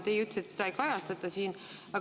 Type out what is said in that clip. Teie ütlesite, et seda ei kajastata siin.